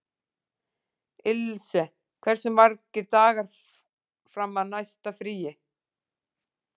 Ilse, hversu margir dagar fram að næsta fríi?